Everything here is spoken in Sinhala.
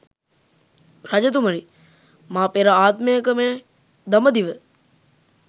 රජතුමනි, මා පෙර ආත්මයක මේ දඹදිව